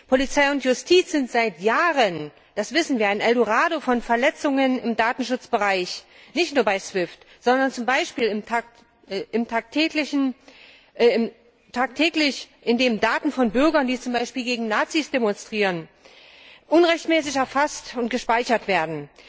Polizei und Justiz sind seit Jahren das wissen wir ein Eldorado von Verletzungen im Datenschutzbereich, nicht nur bei SWIFT, sondern zum Beispiel tagtäglich, indem Daten von Bürgern, die zum Beispiel gegen Nazis demonstrieren, unrechtmäßig erfasst und gespeichert werden.